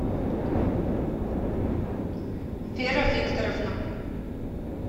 вера викторовна